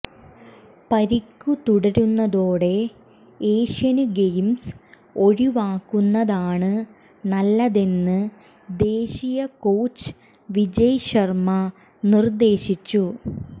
പരിക്ക് തുടരുന്നതോടെ Asian games ഒഴിവാക്കുന്നതാണ് നല്ലതെന്ന് ദേശീയ കോച്ച് വിജയ് ശര്മ നിര്ദ്ദേശിച്ചു